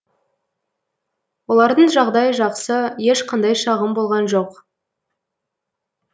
олардың жағдайы жақсы ешқандай шағым болған жоқ